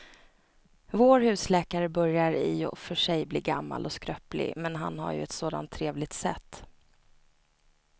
Vår husläkare börjar i och för sig bli gammal och skröplig, men han har ju ett sådant trevligt sätt!